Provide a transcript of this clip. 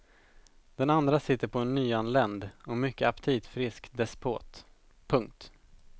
Den andra sitter på en nyanländ och mycket aptitfrisk despot. punkt